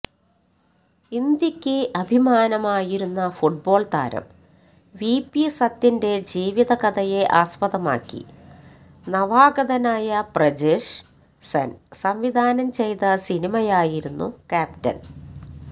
ഇന്ത്യയ്ക്ക് അഭിമാനമായിരുന്ന ഫുട്ബോള് താരം വിപി സത്യന്റെ ജീവിതകഥയെ ആസ്പദമാക്കി നവാഗതനായ പ്രജേഷ് സെന് സംവിധാനം ചെയ്ത സിനിമയായിരുന്നു ക്യാപ്റ്റന്